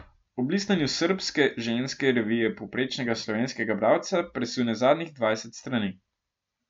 Ob listanju srbske ženske revije povprečnega slovenskega bralca presune zadnjih dvajset strani.